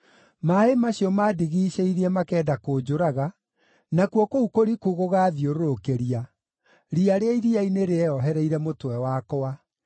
Maaĩ macio maandigiicĩirie makenda kũnjũraga, nakuo kũu kũriku gũgaathiũrũrũkĩria; riya rĩa iria-inĩ rĩeohereire mũtwe wakwa.